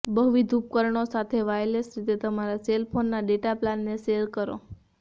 બહુવિધ ઉપકરણો સાથે વાયરલેસ રીતે તમારા સેલ ફોનના ડેટા પ્લાનને શેર કરો